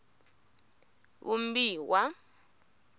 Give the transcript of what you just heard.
vumbiwa